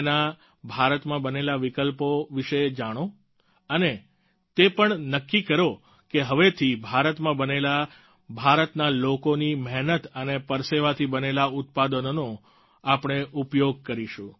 તેના ભારતમાં બનેલા વિકલ્પો વિશે જાણો અને તે પણ નક્કી કરો કે હવેથી ભારતમાં બનેલા ભારતના લોકોની મહેનત અને પરસેવાથી બનેલા ઉત્પાદનોનો આપણે ઉપયોગ કરીશું